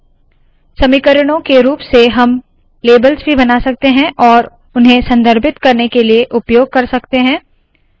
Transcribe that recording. समीकरणों के रूप से हम लेबल्स भी बना सकते है और उन्हें संदर्भित करने के लिए उपयोग कर सकते है